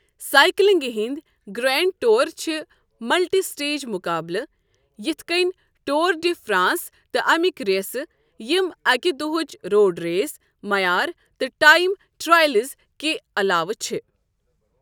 سائیکلنگہِ ہٕنٛدۍ grand tour چھِ multi stage مُقابلہٕ یِتھ کٔنۍ ٹور ڈی فرانس تہٕ اَمیِکۍ ریسہٕ، ییٚمۍ اَکہِ دۄہٕچ روڈ ریس، معیار تہٕ ٹائم ٹرائلز کہِ علاوٕ چھِ۔۔